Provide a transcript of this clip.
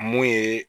Mun ye